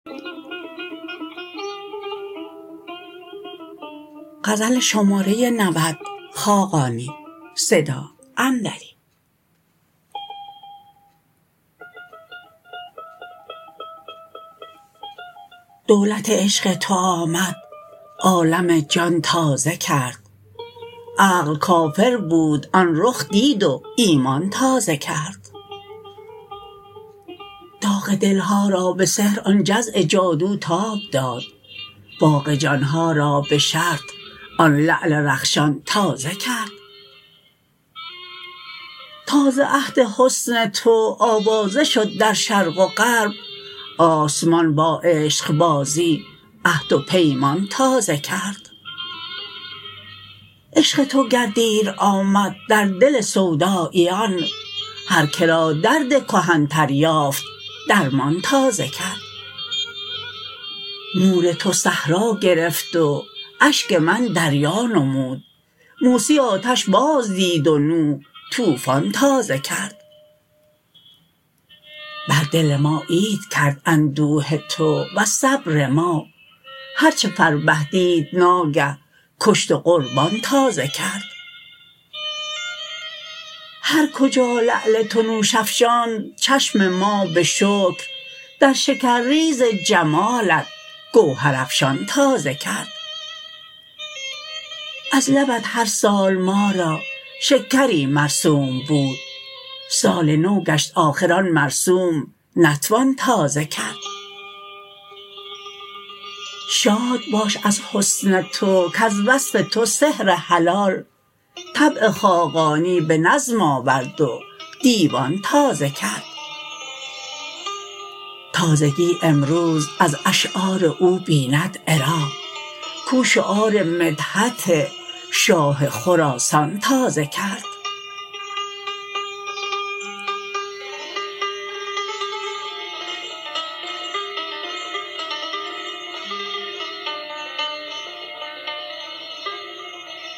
دولت عشق تو آمد عالم جان تازه کرد عقل کافر بود آن رخ دید و ایمان تازه کرد داغ دلها را به سحر آن جزع جادو تاب داد باغ جان ها را به شرط آن لعل رخشان تازه کرد تا ز عهد حسن تو آوازه شد در شرق و غرب آسمان با عشق بازی عهد و پیمان تازه کرد عشق تو گر دیر آمد در دل سوداییان هر که را درد کهن تر یافت درمان تازه کرد نور تو صحرا گرفت و اشک من دریا نمود موسی آتش باز دید و نوح طوفان تازه کرد بر دل ما عید کرد اندوه تو وز صبر ما هرچه فربه دید ناگه کشت و قربان تازه کرد هر کجا لعل تو نوش افشاند چشم ما به شکر در شکرریز جمالت گوهر افشان تازه کرد از لبت هر سال ما را شکری مرسوم بود سال نو گشت آخر آن مرسوم نتوان تازه کرد شاد باش از حسن خود کز وصف تو سحر حلال طبع خاقانی به نظم آورد و دیوان تازه کرد تازگی امروز از اشعار او بیند عراق کو شعار مدحت شاه خراسان تازه کرد